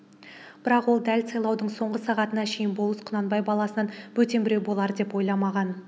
бірақ ол дәл сайлаудың соңғы сағатына шейін болыс құнанбай баласынан бөтен біреу болар деп ойламаған